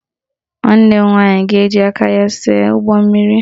Nwanne m nwaanyị ga-eji aka ya see ụgbọmmiri